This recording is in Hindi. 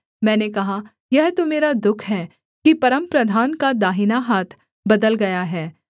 मैंने कहा यह तो मेरा दुःख है कि परमप्रधान का दाहिना हाथ बदल गया है